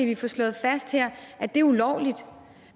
vi får slået fast her at det er ulovligt